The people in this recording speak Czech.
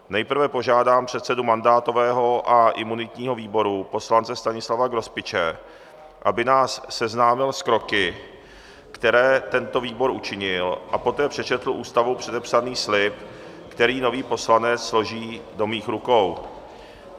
Nejprve požádám předsedu mandátového a imunitního výboru poslance Stanislava Grospiče, aby nás seznámil s kroky, které tento výbor učinil, a poté přečetl Ústavou předepsaný slib, který nový poslanec složí do mých rukou.